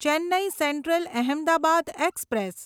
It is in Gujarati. Chennai central Ahmedabad express